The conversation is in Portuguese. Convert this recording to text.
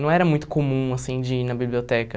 Não era muito comum, assim, de ir na biblioteca.